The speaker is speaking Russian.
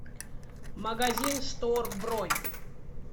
магазин штор бронь